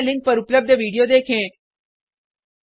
निम्न लिंक पर उपलब्ध वीडियो देखें